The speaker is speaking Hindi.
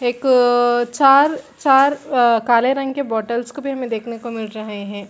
एकअअअ चार-चार अ काले रंग के बॉटल्स को भी हमे देखने को मिल रहै है ।